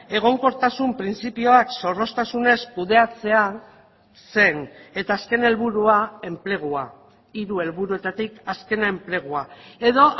egonkortasun printzipioak zorroztasunez kudeatzea zen eta azken helburua enplegua hiru helburuetatik azkena enplegua edo